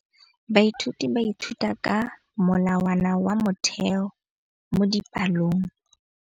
Baithuti ba ithuta ka molawana wa motheo mo dipalong.